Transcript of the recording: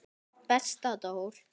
Besta Dór.